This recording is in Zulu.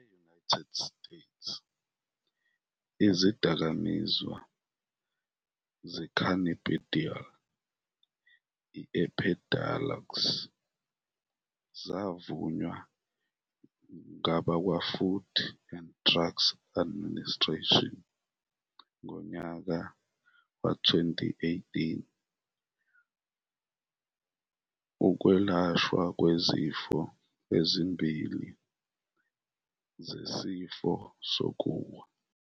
E-United States, izidakamizwa se-cannabidiol i-Epidiolex savunywa ngabakwaFood and Drug Administration ngonyaka we-2018 ukwelashwa kwezifo ezimbili zesifo sokuwa.